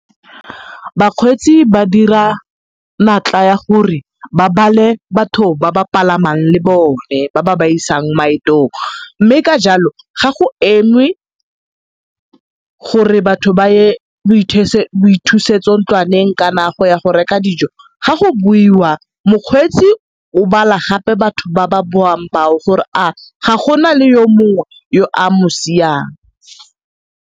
Bakgweetsi ba dira natla ya gore ba bale batho ba ba palamang le bone ba ba ba isang maetong mme ka jalo ga go engwe gore batho ba ye boithusetso ntlwaneng kana go ya go reka dijo ga go boiwa mokgweetsi o bala gape batho ba ba boang bao gore a ga go na le yo mongwe yo a mo siang.